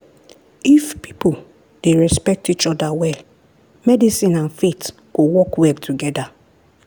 if people dey respect each other well medicine and faith go work well together.